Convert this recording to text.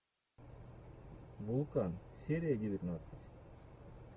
вулкан серия девятнадцать